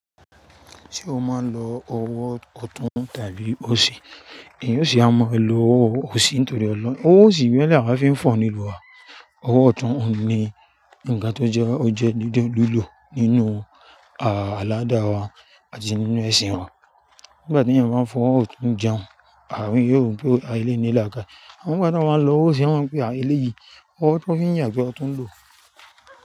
Tí o máa ń lo ọwọ́ ọ̀tún tàbí òsì, èyí ó sì máa ń lo owó òsì nítorí ọlọ́. Ọwọ́ òsì ìgbẹ́ làwá fi ń fọ̀ nílùú wa. Ọwọ́ ọ̀tún òun ni nǹkan tó jẹ́ ó jẹ́ dúdú lílò nínú àláádà wa, àti nínú ẹ̀sìn wa. Nígbà téèyàn bá ń fọwọ́ ọ̀tún jẹun, àárín yóò rò pé aà eléyìí ní làákàyè. Àmọ́ nígbà téèyàn bá ń l'ọwọ́ òsì, wọ́n máa ń pé eléyìí, ọwọ́ tó fi ń yàgbẹ́ lo tún ń lò.